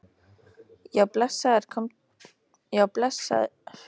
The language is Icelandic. Já, blessaður komdu einhvern daginn og heilsaðu upp á þær.